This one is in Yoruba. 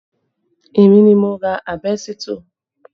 Èmi ni mo ra àbẹ́sítọ̀